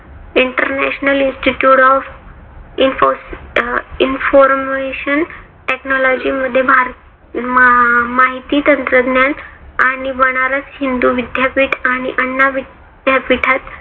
international institute of information technology मध्ये भारतीय माहिती तंत्रज्ञान आणि बनारस हिंदू विद्यापीठ आणि आण्णा विद्यापीठात